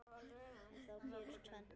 En þá gerist tvennt.